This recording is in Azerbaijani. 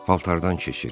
Paltardan keçir.